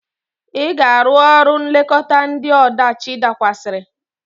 Ị ga-arụ ọrụ nlekọta ndị ọdachi dakwasịrị!